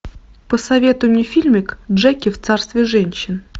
посоветуй мне фильмик джеки в царстве женщин